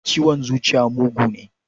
Ciwon zuciya mugu ne.